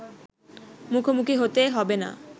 মুখোমুখি হতে হবে না